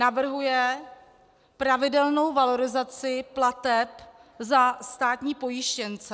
Navrhuje pravidelnou valorizaci plateb za státní pojištěnce.